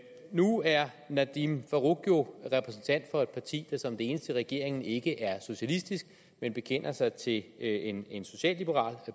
nu er herre nadeem farooq jo repræsentant for et parti der som det eneste i regeringen ikke er socialistisk men bekender sig til en en socialliberal